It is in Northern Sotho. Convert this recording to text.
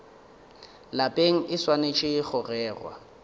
lapeng e swanetše go rerwa